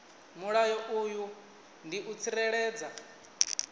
mulayo uyu ndi u tsireledza